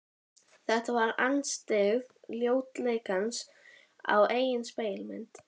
Þetta var andstyggð ljótleikans á eigin spegilmynd.